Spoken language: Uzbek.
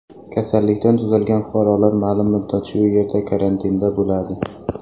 Kasallikdan tuzalgan fuqarolar ma’lum muddat shu yerda karantinda bo‘ladi.